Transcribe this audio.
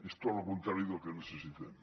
és tot lo contrari del que necessitem